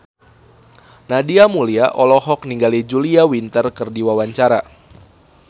Nadia Mulya olohok ningali Julia Winter keur diwawancara